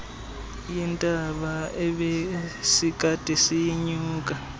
yentaba ebesikade siyinyuka